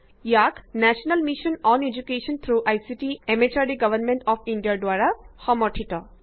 E ICT MHRD government of ইণ্ডিয়াৰ যোগেৰে এদুকেশ্যনৰ উপৰত নেশ্যনেল মিচন দ্বাৰা সমৰ্থিত